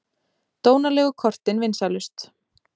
Dónalegu kortin vinsælust